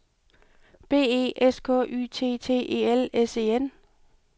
B E S K Y T T E L S E N